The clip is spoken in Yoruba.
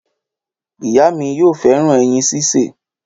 Ìyá mi yóò fẹràn ẹyin ṣíṣe